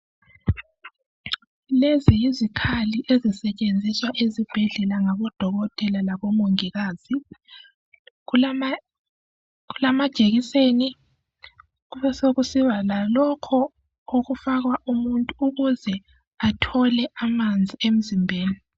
Lezi yizikhali ezisetshenziswa ezibhedlela ngabodokotela labomongikazi kulamajekiseni kube sokusiba lalokho okufakwa umuntu ukuze athole amanzi emzimbeni.